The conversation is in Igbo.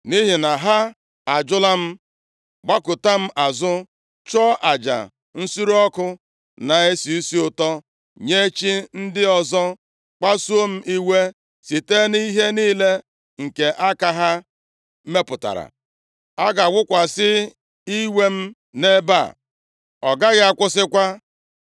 Nʼihi na ha ajụla m, gbakụta m azụ, chụọ aja nsure ọkụ na-esi isi ụtọ nye chi ndị ọzọ, kpasuo m iwe site na ihe niile nke aka ha mepụtara, a ga-awụkwasị iwe m nʼebe a, ọ gaghị akwụsịkwa.’